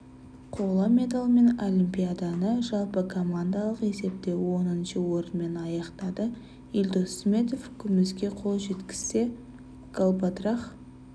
қола медальмен олимпиаданы жалпы командалық есепте оныншы орынмен аяқтады елдос сметов күміске қол жеткізсе галбадрах